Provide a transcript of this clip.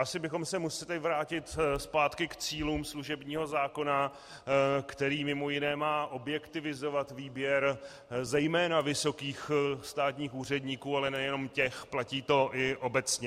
Asi bychom se museli vrátit zpátky k cílům služebního zákona, který mimo jiné má objektivizovat výběr zejména vysokých státních úředníků, ale nejenom těch, platí to i obecně.